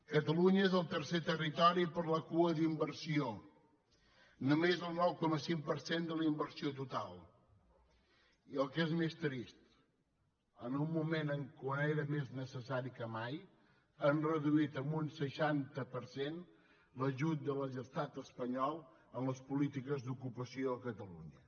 catalunya és el tercer territori per la cua d’inversió només el nou coma cinc per cent de la inversió total i el que és més trist en un moment en què era més necessari que mai han reduït en un seixanta per cent l’ajut de l’estat espanyol en les polítiques d’ocupació a catalunya